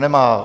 Nemá.